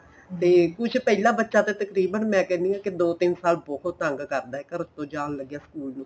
ਤੇ ਕੁੱਝ ਪਹਿਲਾਂ ਬੱਚਾ ਤਾਂ ਤਕਰੀਬਣ ਮੈਂ ਕਹਿੰਨੀ ਆ ਕੀ ਦੀ ਤਿੰਨ ਸਾਲ ਬਹੁਤ ਤੰਗ ਕਰਦਾ ਘਰ ਤੋਂ ਜਾਣ ਲੱਗਿਆ school ਨੂੰ